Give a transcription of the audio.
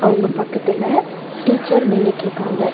உங்க பக்கத்துல டீச்சர் நின்னுட்டு இருக்காங்க.